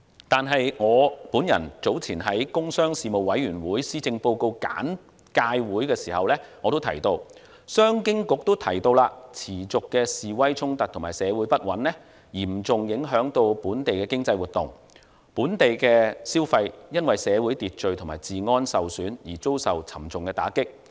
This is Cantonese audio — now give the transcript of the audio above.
但是，我早前在工商事務委員會施政報告簡介會時提到，商務及經濟發展局也提到，持續的示威衝突和社會不穩嚴重影響本地經濟活動，本地消費因社會秩序及治安受損而遭受沉重打擊。